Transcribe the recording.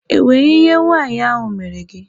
E nwere ihe nwaanyị ahụ mere gị?